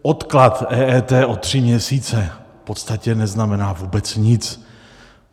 Odklad EET o tři měsíce v podstatě neznamená vůbec nic.